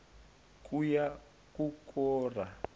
ngukora